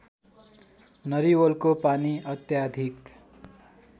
नरिवलको पानी अत्याधिक